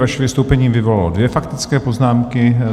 Vaše vystoupení vyvolalo dvě faktické poznámky.